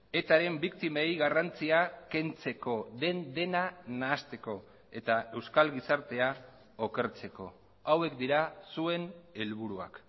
etaren biktimei garrantzia kentzeko den dena nahasteko eta euskal gizartea okertzeko hauek dira zuen helburuak